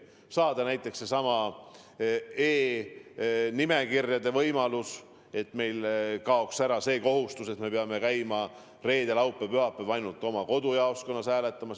Tuleb luua näiteks e-nimekirjade võimalus, et meil kaoks ära kohustus, et peame käima reedel, laupäeval või pühapäeval oma kodujaoskonnas hääletamas.